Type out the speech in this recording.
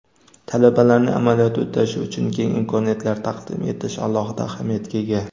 talabalarning amaliyot o‘tashi uchun keng imkoniyatlar taqdim etish alohida ahamiyatga ega.